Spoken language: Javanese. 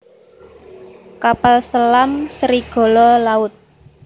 Kapal selam Serigala Laut